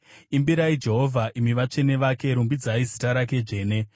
Imbirai Jehovha, imi vatsvene vake; rumbidzai zita rake dzvene.